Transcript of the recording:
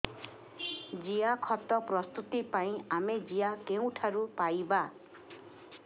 ଜିଆଖତ ପ୍ରସ୍ତୁତ ପାଇଁ ଆମେ ଜିଆ କେଉଁଠାରୁ ପାଈବା